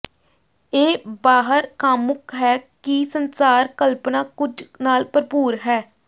ਇਹ ਬਾਹਰ ਕਾਮੁਕ ਹੈ ਕਿ ਸੰਸਾਰ ਕਲਪਨਾ ਕੁਝ ਨਾਲ ਭਰਪੂਰ ਹੈ